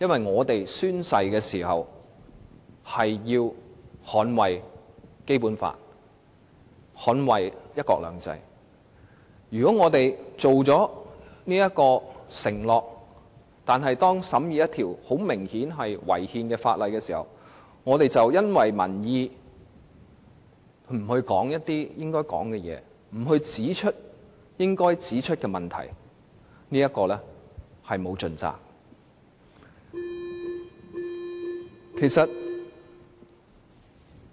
我們曾經宣誓要捍衞《基本法》和"一國兩制"，並且作出了承諾，如果在審議一項明顯違憲的法例的時候，卻因為顧及民意而不說出應該說的話、不指出應該指出的問題，我們便是沒有盡責。